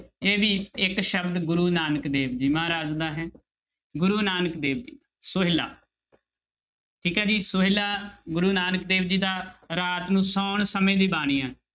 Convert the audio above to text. ਇਹ ਵੀ ਇੱਕ ਸ਼ਬਦ ਗੁਰੂ ਨਾਨਕ ਦੇਵ ਜੀ ਮਹਾਰਾਜ ਦਾ ਹੈ ਗੁਰੂ ਨਾਨਕ ਦੇਵ ਜੀ ਸੋਹਿਲਾ ਠੀਕ ਹੈ ਜੀ ਸੋਹਿਲਾ ਗੁਰੂ ਨਾਨਕ ਦੇਵ ਜੀ ਦਾ ਰਾਤ ਨੂੰ ਸੌਣ ਸਮੇਂ ਦੀ ਬਾਣੀ ਹੈ।